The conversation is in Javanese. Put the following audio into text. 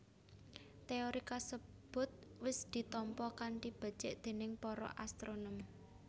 Téori kasebut wis ditampa kanthi becik déning para astronom